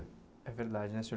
É verdade, né, senhor